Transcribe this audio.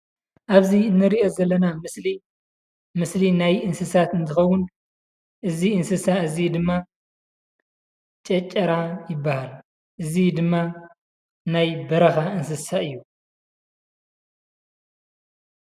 ኣብዚ ንርኦ ዘለና ምስሊ ምስሊ ናይ እንስሳት እንትከውን እዚ እንስሳ እዚ ድማ ጨጨራ ይብሃል፤ እዚ ድማ ናይ በረካ እንስሳ እዩ።